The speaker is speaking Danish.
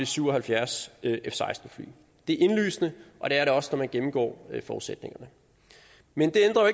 syv og halvfjerds f seksten fly det er indlysende og det er det også når man gennemgår forudsætningerne men det ændrer